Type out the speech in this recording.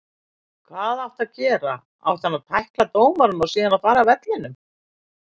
Hvað áttu að gera. átti hann að tækla dómarann og síðan fara af vellinum?